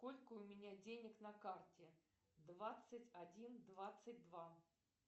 сколько у меня денег на карте двадцать один двадцать два